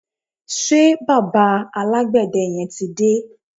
ṣe bàbá alágbède yẹn ti dé?